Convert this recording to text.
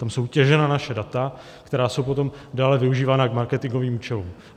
Tam jsou těžena naše data, která jsou potom dále využívána k marketingovým účelům.